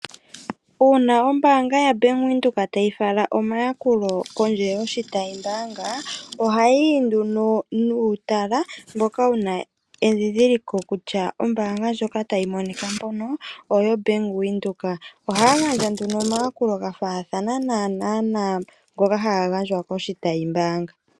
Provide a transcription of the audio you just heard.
Uuna ombaanga yaBank Windhoek tayi fala omayakulo kondje yoshitayimbaanga, ohayi yi nduno nuutala mboka wu na edhindhiliko kutya ombaanga ndjono tayi monika mpono oyo Bank Windhoek. Ohaa gandja nduno omayakulo ga faathana naanaa naa ngoka haga gandjwa koshitayimbaanga.